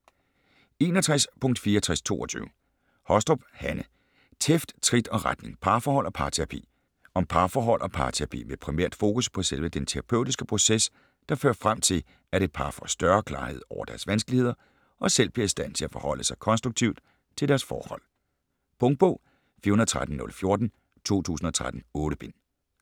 61.6422 Hostrup, Hanne: Tæft, trit og retning: parforhold og parterapi Om parforhold og parterapi med primært fokus på selve den terapeutiske proces, der fører frem til, at et par får større klarhed over deres vanskeligheder og selv bliver i stand til at forholde sig konstruktivt til deres forhold. Punktbog 413014 2013. 8 bind.